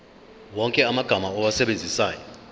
wonke amagama owasebenzisayo